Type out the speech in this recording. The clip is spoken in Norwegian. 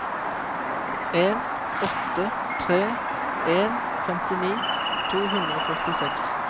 en åtte tre en femtini to hundre og førtiseks